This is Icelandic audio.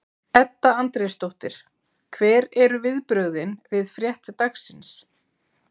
Edda Andrésdóttir: Hver eru viðbrögðin við frétt dagsins?